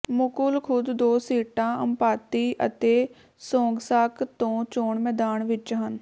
ਮੁਕੁਲ ਖੁਦ ਦੋ ਸੀਟਾਂ ਅੰਪਾਤੀ ਅਤੇ ਸੋਂਗਸਾਕ ਤੋਂ ਚੋਣ ਮੈਦਾਨ ਵਿੱਚ ਹਨ